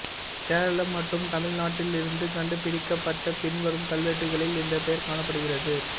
கேரளம் மற்றும் தமிழ்நாட்டிலிருந்து கண்டுபிடிக்கப்பட்ட பின்வரும் கல்வெட்டுகளில் இந்தப் பெயர் காணப்படுகிறது